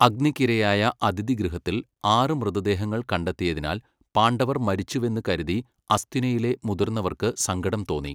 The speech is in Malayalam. അഗ്നിക്കിരയായ അതിഥിഗൃഹത്തിൽ ആറ് മൃതദേഹങ്ങൾ കണ്ടെത്തിയതിനാൽ പാണ്ഡവർ മരിച്ചുവെന്ന് കരുതി അസ്തിനയിലെ മുതിർന്നവർക്ക് സങ്കടം തോന്നി.